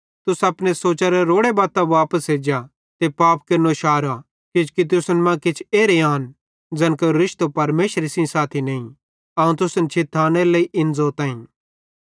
तुस अपने सोचरे रोड़ी बत्तां वापस एज्जा ते पाप केरनो शारा किजोकि तुसन मां किछ एरे आन ज़ैन केरो रिश्तो परमेशरे सेइं साथी नईं अवं तुसन छिथानेरे लेइ इन ज़ोताईं